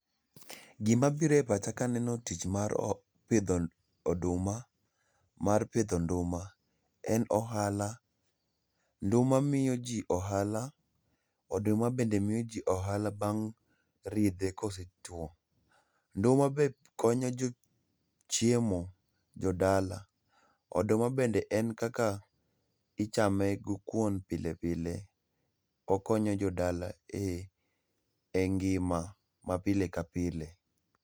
Gimabiro e pacha kaneno tich mar o pidho oduma, mar pidho nduma en ohala nduma miyo jii ohala, oduma bende miyo jii ohala bang' ridhe kosetwo. Nduma be konyo jo chiemo, jodala. Oduma bende en kaka, ichame go kuon pilepile. Okonyo jodala e e ngima ma pile kapile